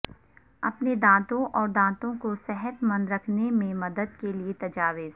اپنے دانتوں اور دانتوں کو صحت مند رکھنے میں مدد کے لئے تجاویز